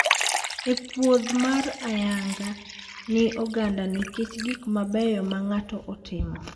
En puodh mar ayanga gi oganda nikech gik mabeyo ma ng`ato otimo.